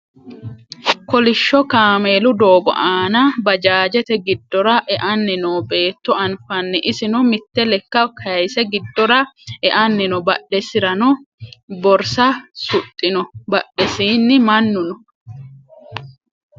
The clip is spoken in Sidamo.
kolishsho kameelu doogo aana bajaajete giddora e"anni oo beetto anfanni isino mitte lekka kayiise giddora e"anni no badhesirano borsa suxxino badhesiinni mannu no